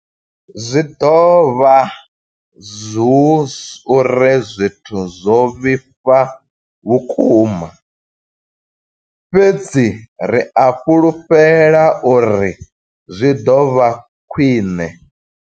Zwi ḓo vha hu uri zwithu zwo vhifha vhukuma, fhedzi ri a fhulufhela uri zwi ḓo vha khwiṋe.